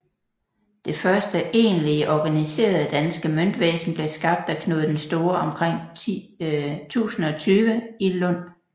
Det første egentlige organiserede danske møntvæsen blev skabt af Knud den Store omkring 1020 i Lund